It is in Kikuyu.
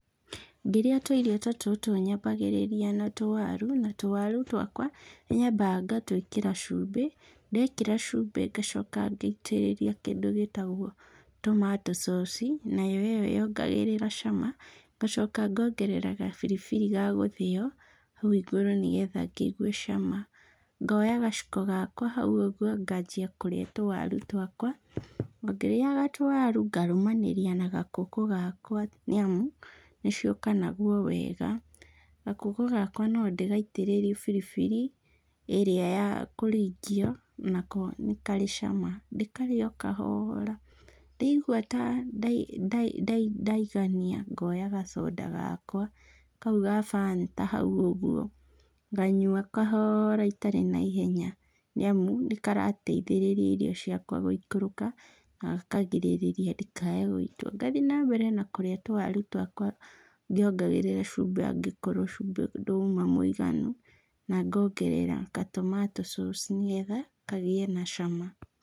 Ngĩrĩa tũirio ta tũtũ nyambagĩrĩria na tũwaru, na tũwaru twakwa nĩ nyambaga ngatwĩkĩra cumbĩ. Ndekĩra cumbĩ ngacoka ngaitĩrĩria kĩndũ gĩtagwo tomato sauce i, nayo ĩyo yongagĩrĩra cama. Ngacoka ngongerera gabiribiri ga gũthĩo hau igũrũ nĩgetha ngĩigue cama. Ngoya gaciko gakwa hau ũguo nganjia kũrĩa tũwaru twakwa. O ngĩrĩaga tũwaru ngarũmanĩria na gakũkũ gakwa nĩamu nĩciũkanagwo wega. Gakũkũ gakwa no ndĩgaitĩrĩrie biribiri ĩrĩa ya kũringio nako nĩ karĩ cama. Ndĩkarĩe o kahoora, ndaigua ta ndaigania ngoya gacoda gakwa, kau ga Fanta hau ũguo, nganyua kahoora itarĩ na ihenya, nĩamu nĩkarateithĩrĩria irio ciakwa gũikũrũka na gakarigĩrĩria ndikae gũitwo. Ngathiĩ na mbere na kũrĩa tũwaru twakwa ngĩongagĩrĩra cumbĩ angĩkorwo cumbĩ nduma mũiganu na ngongerera ka tomato sauce nĩgetha kagĩe na cama.